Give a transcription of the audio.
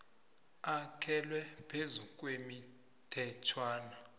akhelwe phezu kwemithetjhwana